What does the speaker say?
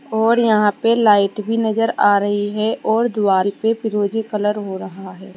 और यहां पे लाइट भी नजर आ रही है और दीवार पे फिरोजी कलर हो रहा है।